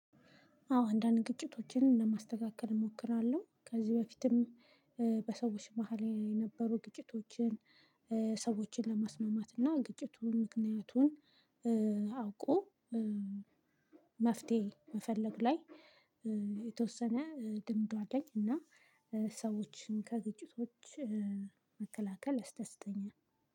አዎ አንዳንድ ግጭቶችን ለማስተካከል እሞክራለሁ ከዚህ በፊትም በሰዎች መሃል የነበሩ ግጭቶችን ሰዎችን ለማስማማት እና ግጭቱን ምክንያቱን አውቆ መፍትሄ መፈለግ ላይ የተወሰነ ልምዱ አለኝ። እና ሰዎችን ከግጭቶች መከላከል ያስደስተኛል።